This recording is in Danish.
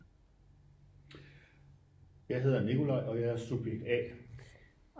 jeg hedder nikolaj og jeg er subjekt a